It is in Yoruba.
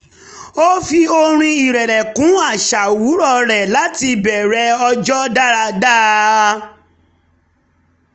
ó fi orin ìrẹ̀lẹ̀ kún àṣà owurọ̀ rẹ̀ láti bẹ̀rẹ̀ ọjọ́ dáadáa